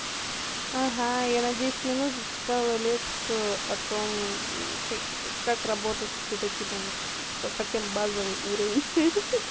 ага я на десять минут за читала лекцию о том к как работать с это типом типа совсем базовый уровень